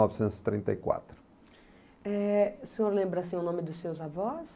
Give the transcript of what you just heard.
novecentos e trinta e quatro. Eh o senhor lembra o nome dos seus avós?